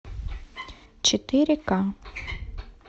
четыре ка